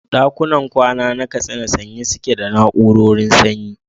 ɗakunan kwana na Katsina sanye suke da na'urorin sanyi.